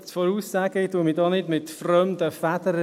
Ich schmücke mich hier nicht mit fremden Federn.